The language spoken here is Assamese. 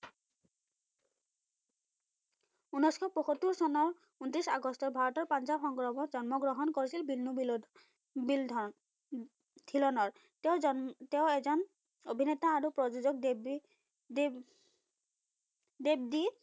উনৈসশ পয়সোত্তৰ চনৰ উনত্ৰিস আগষ্টত ভাৰতৰ পঞ্জাৱ সংগ্ৰহবত জন্ম গ্ৰহণ কৰিছিল, বিন্নোবিল্লোদ বিলধাৰ ধিলনৰ তেওঁ জান তেওঁ এজন অভিনেতা আৰু প্ৰযোজক দেৱদি দেৱ দেৱদি